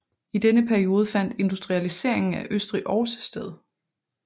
I denne periode fandt industrialiseringen af Østrig også sted